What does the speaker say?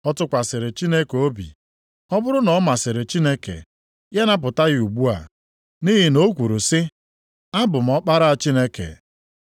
Ọ tụkwasịrị Chineke obi, ọ bụrụ na ọ masịrị Chineke, ya napụta ya ugbua, nʼihi na o kwuru sị, ‘Abụ m Ọkpara Chineke. ’”